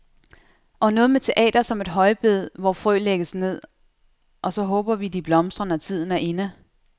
Og noget med teatret som et højbed, hvor frø lægges ned, og så håber vi de blomstrer, når tiden er inde.